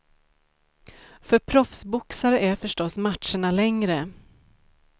För proffsboxare är förstås matcherna längre.